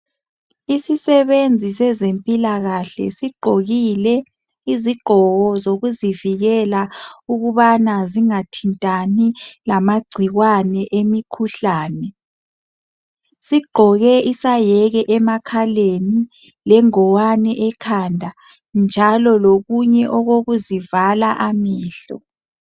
Isisebenzi sezempilakahle sigqokile izigqoko zokuzivikela ukubana zingathintani lamagcikwane emikhuhlane, sigqoke isayeke emakhaleni lengowane ekhanda njalo lokunye okokuzivala amehlo.